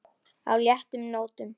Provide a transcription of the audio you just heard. á léttum nótum.